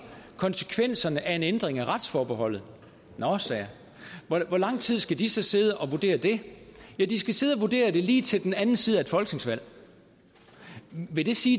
konsekvenserne af en ændring af retsforbeholdet nå sagde jeg hvor lang tid skal de så sidde og vurdere det ja de skal sidde og vurdere det lige til den anden side af et folketingsvalg vil det sige